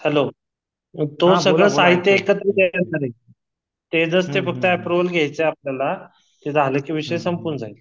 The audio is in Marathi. हॅलो तो सगळ साहित्य एकत्र देणार आहे ते जस ते फक्त अँप्रोवल घ्याच आहे आपल्याला ते झाल कि विषय संपून जाईल